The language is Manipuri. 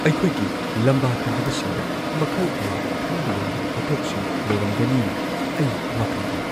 ꯑꯩꯈꯣꯏꯒꯤ ꯂꯝꯕꯥ ꯇꯧꯔꯤꯕꯁꯤꯡꯗ ꯃꯈꯜ ꯀꯌꯥꯒꯤ ꯈꯟꯕ ꯌꯥꯔꯕ ꯄꯣꯠꯊꯣꯛꯁꯤꯡ ꯂꯩꯔꯝꯒꯅꯤꯅ ꯑꯩ ꯋꯥꯈꯟ ꯋꯥꯏ꯫